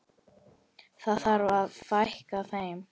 Það þarf að fækka þeim.